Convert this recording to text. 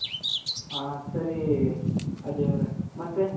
ಹಾ ಸರಿ ಅಜಯ್ ಅವ್ರೆ ಮತ್ತೆ